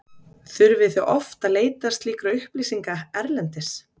Þurfið þið oft að leita slíkra upplýsinga erlendis?